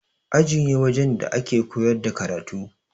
Aji ne wajen da ake koyar da karatu.